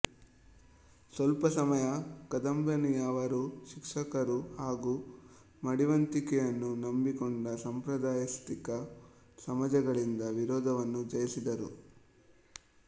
ಸ್ವಲ್ಪ ಸಮಯ ಕದಂಬಿನಿಯವರು ಶಿಕ್ಷಕರು ಹಾಗು ಮಡಿವಂತಿಕೆಯನ್ನು ನಂಬಿಕೊಂಡ ಸಂಪ್ರದಾಯಸ್ಥಿಕ ಸಮಾಜಗಳಿಂದ ವಿರೋಧವನ್ನು ಜಯಿಸಿದರು